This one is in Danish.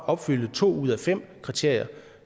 opfylde to ud af fem kriterier